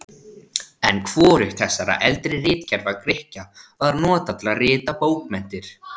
En hvorugt þessara eldri ritkerfa Grikkja var notað til að rita bókmenntir.